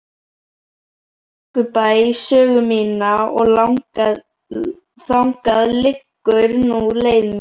Brekkubæ sögu mína og þangað liggur nú leið mín.